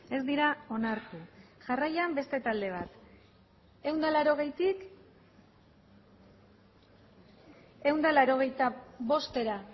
ez dira onartu jarraian beste talde bat ehun eta laurogeitik ehun eta laurogeita bostera